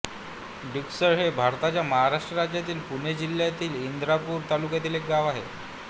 डिकसळ हे भारताच्या महाराष्ट्र राज्यातील पुणे जिल्ह्यातील इंदापूर तालुक्यातील एक गाव आहे